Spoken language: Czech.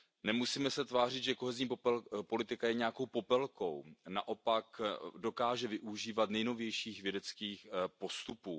Nemusíme se tvářit, že kohezní politika je nějakou Popelkou, naopak dokáže využívat nejnovějších vědeckých postupů.